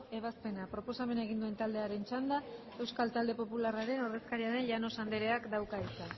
ebazpena proposamena egin duen taldearen txanda euskal talde popularraren ordezkaria den llanos andreak dauka hitza